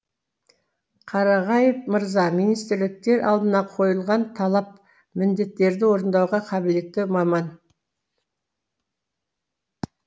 қарағаев мырза министрліктер алдына қойылған талап міндеттерді орындауға қабілетті маман